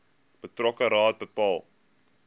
betrokke raad bepaal